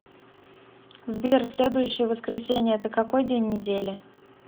сбер следующее воскресение это какой день недели